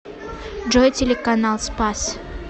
джой телеканал спас